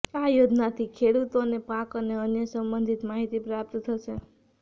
આ યોજનાથી ખેડૂતોને પાક અને અન્ય સંબંધિત માહિતી પ્રાપ્ત થશે